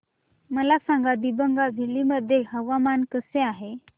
मला सांगा दिबांग व्हॅली मध्ये हवामान कसे आहे